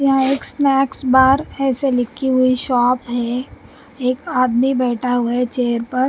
यहाँ एक snacks bar ऐसे लिखी हुई शॉप है एक आदमी बैठा हुआ है चेयर पर--